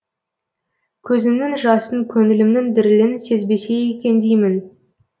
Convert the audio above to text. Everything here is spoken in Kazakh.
көзімнің жасын көңілімнің дірілін сезбесе екен деймін